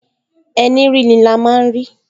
Ẹní ríni ni a máa rí!